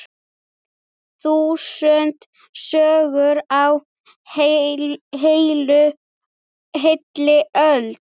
Þúsund sögur á heilli öld.